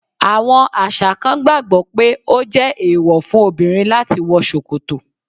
Àwọn àṣà kan gbàgbó pé ọ je èèwọ́ fún obìrin lati wọ ṣòkòtọ̀